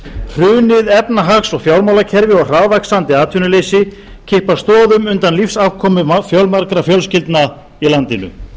hrunið efnahags og fjármálakerfi og hraðvaxandi atvinnuleysi kippa stoðum undan lífsafkomu fjölmargra fjölskyldna í landinu